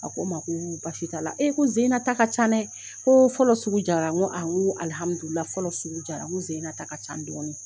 A ko ma ko baasi t'a la e ko n sen in na ta ka ca dɛ ko fɔlɔ sugu diyara n ko fɔlɔ sugu diyara n ko sen in ta ka ca dɔɔnin